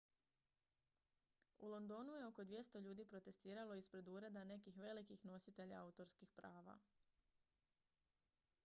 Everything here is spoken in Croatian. u londonu je oko 200 ljudi protestiralo ispred ureda nekih velikih nositelja autorskih prava